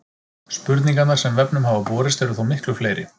Spurningarnar sem vefnum hafa borist eru þó miklu fleiri.